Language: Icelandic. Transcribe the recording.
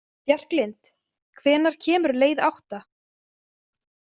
Bjarklind, hvenær kemur leið átta?